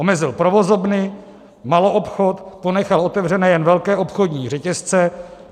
Omezil provozovny, maloobchod, ponechal otevřené jen velké obchodní řetězce.